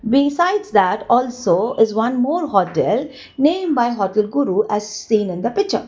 besides that also is one more hotel name by hotel guru as seen in the picture.